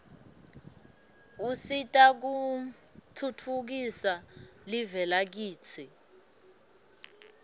usita kutfhtfukisa live lakitsi